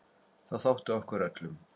Það þótti okkur öllum.